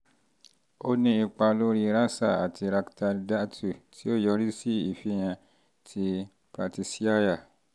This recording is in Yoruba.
ó ní ipa lórí rasa àti rakta dhatu tí ó yọrí sí ìfihàn ti pratishyaya